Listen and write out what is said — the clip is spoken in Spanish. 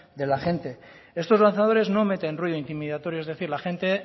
de la gente estos lanzadores no meten ruido intimidatorio es decir la gente